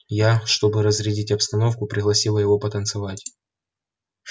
я чтобы разрядить обстановку пригласила его потанцевать